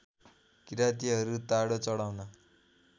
किरातीहरू ताडो चढाउन